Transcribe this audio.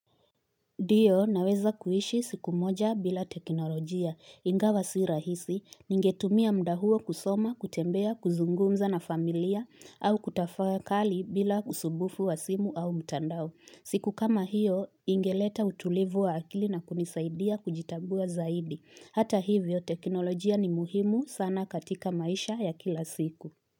Ndio naweza kuishi siku moja bila teknolojia ingawa si rahisi ningetumia muda huo kusoma, kutembea, kuzungumza na familia au kutafakali bila usumbufu wa simu au mtandao. Siku kama hiyo ingeleta utulivu wa akili na kunisaidia kujitambua zaidi. Hata hivyo teknolojia ni muhimu sana katika maisha ya kila siku.